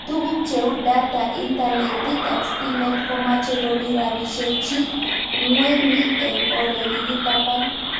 Tuguk cheu data ,internetit ak stimet komache komii rabishek chik ng'weny eng' ole kikitapan